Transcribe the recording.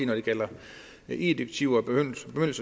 det gælder eu direktiver